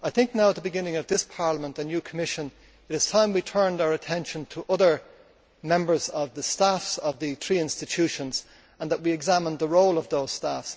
Now, at the beginning of this Parliament and new Commission, it is time we turned our attention to other members of staff of the three institutions and examined the role of those staff.